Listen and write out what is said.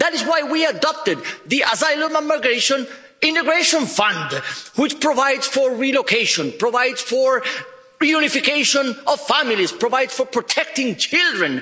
That is why we adopted the Asylum and Migration Integration Fund, which provides for relocation, provides for reunification of families, and provides for protecting children.